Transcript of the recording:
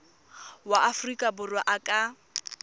wa aforika borwa a ka